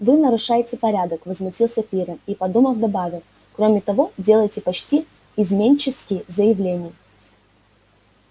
вы нарушаете порядок возмутился пиренн и подумав добавил кроме того делаете почти изменнические заявления